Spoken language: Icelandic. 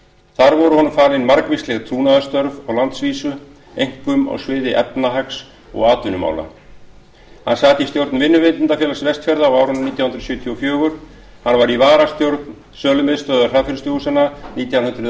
þar voru honum falin margvísleg trúnaðarstörf á landsvísu einkum á sviði efnahags og atvinnumála hann sat í stjórn vinnuveitendafélags vestfjarða frá árinu nítján hundruð sjötíu og fjögur hann var í varastjórn sölumiðstöðvar hraðfrystihúsanna nítján hundruð